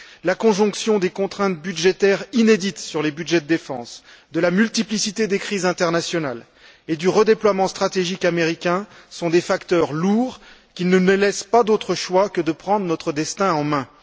La conjonction des contraintes budgétaires inédites sur les budgets de défense, de la multiplicité des crises internationales et du redéploiement stratégique américain sont des facteurs lourds qui ne nous laissent pas d'autre choix que de prendre notre destin en mains.